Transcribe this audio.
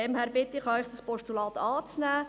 Deshalb bitte ich Sie, dieses Postulat anzunehmen.